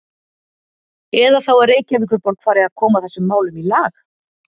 Eða þá að Reykjavíkurborg fari að koma þessum málum í lag?